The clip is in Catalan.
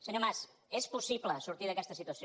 senyor mas és possible sortir d’aquesta situació